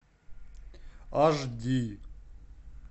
аш ди